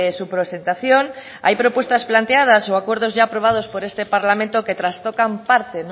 su presentación hay propuestas planteadas o acuerdos ya ha aprobados por este parlamento que trastocan parte